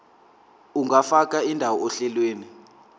ungafaka indawo ohlelweni